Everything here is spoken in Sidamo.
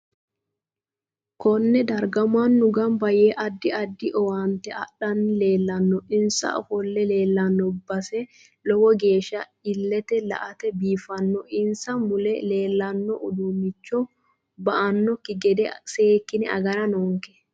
Konne darga mannu ganba yee addi addi owaante adhanni leelanno insa ofolle leelanno base lowo geesha illete la'ate biifanno insa mule leelanno uduunicho ba'anoki gede seekine agara noonke